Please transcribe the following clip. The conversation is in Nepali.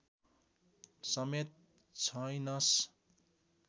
समेत छैनस्